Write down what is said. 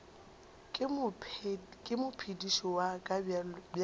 ke mophediši wa ka bjale